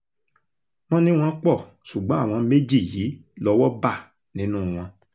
wọ́n ní wọ́n pọ̀ ṣùgbọ́n àwọn méjì yìí lọ́wọ́ bá nínú wọn